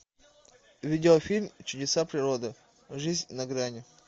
видеофильм чудеса природы жизнь на грани